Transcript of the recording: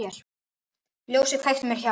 Ljósið kveiktu mér hjá.